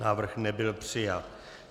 Návrh nebyl přijat.